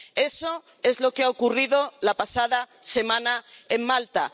Eso es lo que ha ocurrido la pasada semana en Malta.